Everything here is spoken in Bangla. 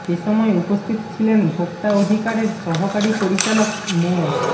এ সময় উপস্থিত ছিলেন ভোক্তা অধিকারের সহকারী পরিচালক মো